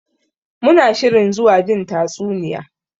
Muna shirin zuwa jin tatsuniya.